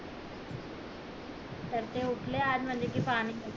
तर ते उठले आज म्हणले कि पाणी